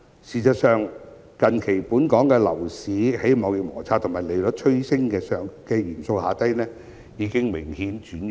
事實上，近期本港樓市在貿易摩擦和利率趨升等因素影響下已明顯轉弱。